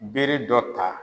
Bere dɔ ta